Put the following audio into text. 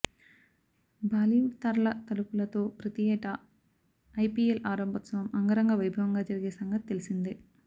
బాలీవుడ్ తారల తళుకులతో ప్రతి ఏటా ఐపీఎల్ ఆరంభోత్సవం అంగరంగ వైభవంగా జరిగే సంగతి తెలిసిందే